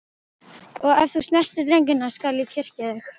Og ef þú snertir drengina skal ég kyrkja þig.